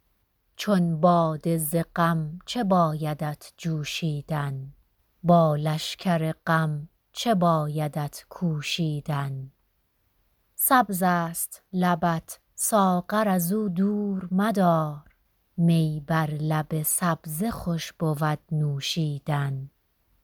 چون باده ز غم چه بایدت جوشیدن با لشگر غم چه بایدت کوشیدن سبز است لبت ساغر از او دور مدار می بر لب سبزه خوش بود نوشیدن